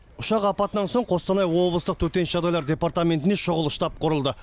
ұшақ апатынан соң қостанай облыстық төтенше жағдайлар департаментінде шұғыл штаб құрылды